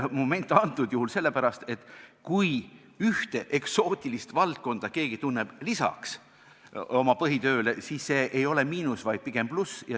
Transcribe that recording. Kui keegi tunneb lisaks oma põhitööle ka ühte eksootilist valdkonda, siis see ei ole miinus, vaid pigem pluss.